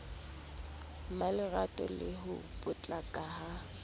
mmalerato le ho potlaka ha